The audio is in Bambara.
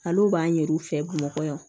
Ale b'a ɲɛ yir'u fɛ bamakɔ